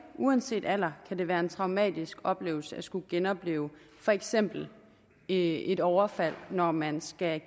uanset alder kan være en traumatisk oplevelse at skulle genopleve for eksempel et overfald når man skal